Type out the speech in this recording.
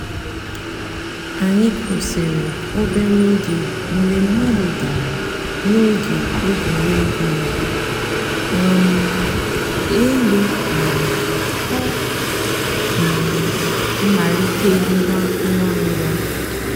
ànyị̀ kwụsìrì òbèrè ògè mgbè mmàdụ̀ dàrā n'ògè ègwè́régwụ̀ ị̀wụ̀ um èlù mánà ọ̀ um màlítèghàchìrì ngwá ngwá.